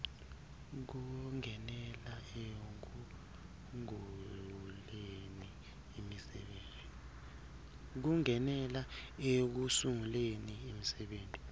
kungenela ekusunguleni imisebenti